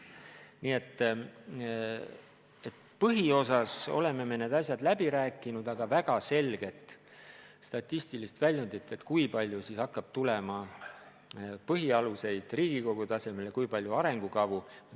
Nii et põhiosas me oleme need asjad läbi rääkinud, aga väga selget statistilist väljundit, kui palju hakkab tulema põhialuseid Riigikogu tasemel ja kui palju arengukavu, ei ole.